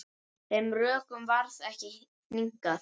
Þeim rökum varð ekki hnikað.